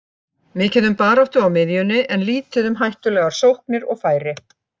Mikið um baráttu á miðjunni en lítið um hættulegar sóknir og færi.